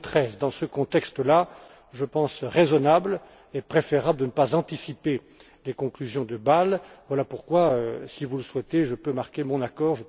2013. Dans ce contexte là, je pense raisonnable et préférable de ne pas anticiper sur les conclusions de Bâle. Voilà pourquoi, si vous le souhaitez, je peux marquer mon accord.